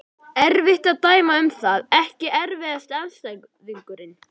Erfitt að dæma um það Ekki erfiðasti andstæðingur?